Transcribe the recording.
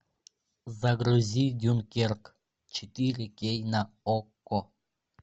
загрузи дюнкерк четыре кей на окко